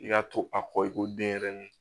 I ka to a kɔ i ko denɲɛrɛnin